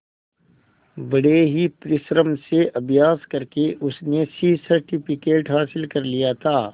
बड़े ही परिश्रम से अभ्यास करके उसने सी सर्टिफिकेट हासिल कर लिया था